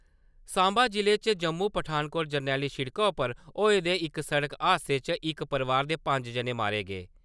साम्बा जि'ले च जम्मू-पठानकोट जरनैली सिड़का उप्पर होए दे इक सड़क हादसे च इक परोआर दे पंज जने मारे गे ।